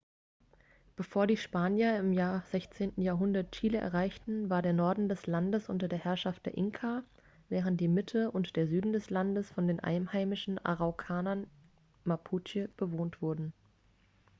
bevor die spanier im 16. jahrhundert chile erreichten war der norden des landes unter den herrschaft der inka während die mitte und der süden des landes von den einheimischen araukanern mapuche bewohnt wurde